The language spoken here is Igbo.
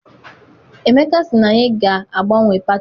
Emeka sị na anyị ga agbanwe pati.